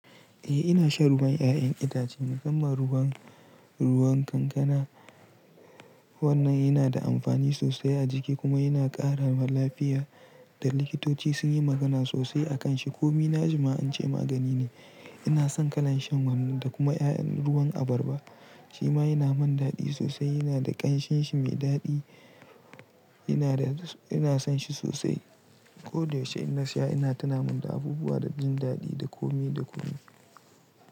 Eh ina shan ruwan 'ya'yan itace, musumman ruwan kankana. Wannan yana da amfani sosai a jiki kuma yana ƙara lafiya. Likitoci sun yi magana sosai a kan shi, ko nima na na ji ance magani ne. Ina son kalan shan wannan da kuma 'ya'yan ruwan abarba. Shi ma yana mun daɗi sosai, yana da ƙanshinshi mai daɗi. Ina son shi sosai. Koda yaushe idan na siya, yana tuna mun da abubuwa da jin daɗi da komai da komai.